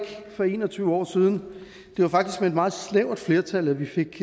for en og tyve år siden det var faktisk med et meget snævert flertal at vi fik